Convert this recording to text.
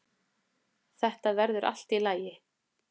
Þetta verður allt í lagi.